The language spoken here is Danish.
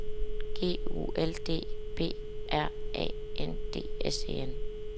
G U L D B R A N D S E N